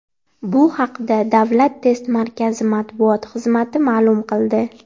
Bu haqda Davlat test markazi matbuot xizmati ma’lum qildi .